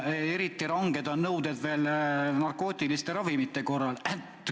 Eriti ranged nõuded on narkootiliste ravimite korral.